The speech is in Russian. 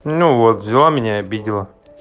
ну вот взяла меня и обидела